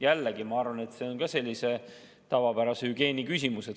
Jällegi, ma arvan, et see on sellise tavapärase hügieeni küsimus.